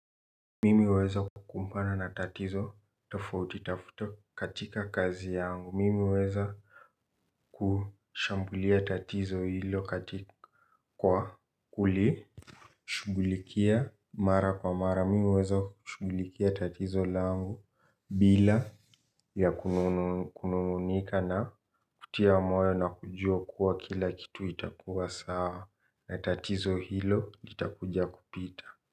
Mimi huweza kukumbana na tatizo tofauti tafuto katika kazi yangu. Mimi huweza kushambulia tatizo hilo kwa kuli shughulikia mara kwa mara. Mimi huweza shugulikia tatizo langu bila ya kununungunika na kutia moyo na kujua kuwa kila kitu itakuwa sawa na tatizo hilo litakuja kupita.